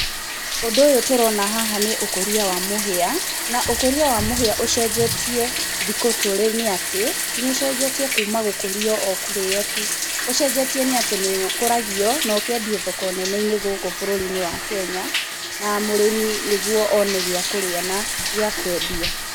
Ũndũ ũyũ tũrona haha nĩ ũkũria wa mũhĩa, na ũkũria wa mũhĩa ũcenjetie thikũ tũrĩ nĩ atĩ, nĩ ũcenjetie kuuma gũkũrio o kũríĩo tu. Ũcenjetie nĩ atĩ nĩ ũkũragio, na ũkendio thako nene-inĩ gũkũ bũrũri-inĩ wa Kenya, na mũrĩmi nĩ guo one gĩa kũrĩa na gĩa kũendia.